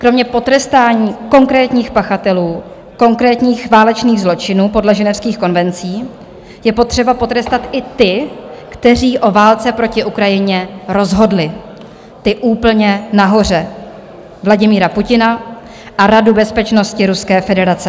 Kromě potrestání konkrétních pachatelů konkrétních válečných zločinů podle ženevských konvencí je potřeba potrestat i ty, kteří o válce proti Ukrajině rozhodli, ty úplně nahoře - Vladimíra Putina a Radu bezpečnosti Ruské federace.